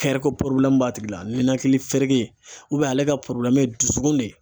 ko b'a tigi la nɛnakili fereke ale ka ye dusukun ne